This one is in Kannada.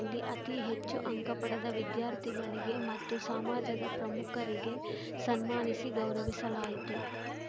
ಇಲ್ಲಿ ಅತೀ ಹೆಚ್ಚು ಅಂಕ ಪಡೆದ ವಿದ್ಯಾರ್ಥಿಗಳಿಗೆ ಮತ್ತು ಸಾಮಾಜದ ಪ್ರಮುಖರಿಗೆ ಸನ್ಮಾನಿಸಿ ಗೌರಸಲಾಯಿತು